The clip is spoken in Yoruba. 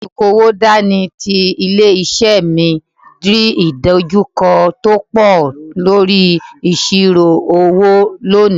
Olukowo dání ti ilé-isé mi rí ìdojúkọ tó pọ̀ lórí ìṣirò owó lónìí.